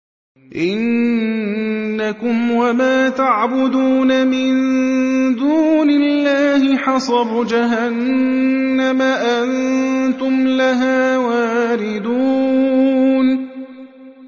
إِنَّكُمْ وَمَا تَعْبُدُونَ مِن دُونِ اللَّهِ حَصَبُ جَهَنَّمَ أَنتُمْ لَهَا وَارِدُونَ